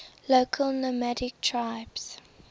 local nomadic tribes